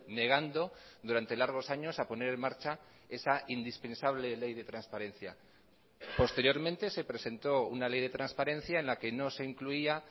negando durante largos años a poner en marcha esa indispensable ley de transparencia posteriormente se presentó una ley de transparencia en la que no se incluía